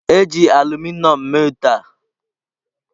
E ji aluminom mee ite a.